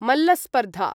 मल्लस्पर्धा